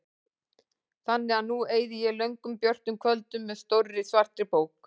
Þannig að nú eyði ég löngum björtum kvöldum með stórri svartri bók.